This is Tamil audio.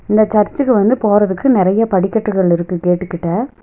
இந்த சர்ச்சுக்கு வந்து போறதுக்கு நெறையா படிக்கட்டுகள் இருக்கு கேட்டு கிட்ட.